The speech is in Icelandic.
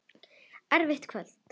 Erfitt kvöld.